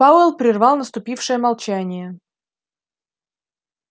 пауэлл прервал наступившее молчание